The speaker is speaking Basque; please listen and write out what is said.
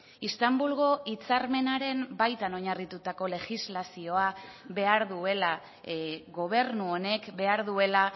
istanbulgo hitzarmenaren baitan oinarritutako legislazioa behar duela gobernu honek behar duela